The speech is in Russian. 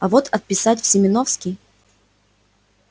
а вот отписать в семёновский